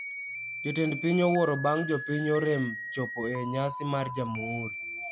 Jatend piny owuoro bang jopiny orem chopo e nyasi mar jamhuri